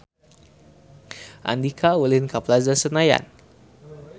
Andika ulin ka Plaza Senayan